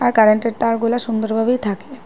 Current -এর তার গুলা সুন্দর ভাবেই থাকে।